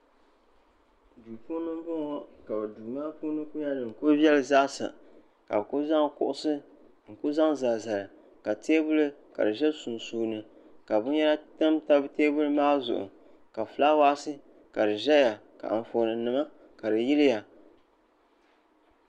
Duu puuni m boŋɔ ka duu maa puuni kuli yelim zaasa ka bɛ kuli zaŋ kuɣusi n zaŋ zali zali ka teebuli ka di ʒɛ sunsuuni ka binyɛra tam tam teebuli maa zuɣu ka filaawaasi ka di ʒɛya ka anfooni nima ka di yiliya.